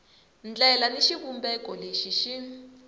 ndlela ni xivumbeko lexi xi